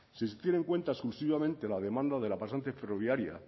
si se tiene en cuenta exclusivamente la demanda de la pasante ferroviaria